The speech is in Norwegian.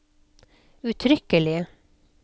uttrykkelig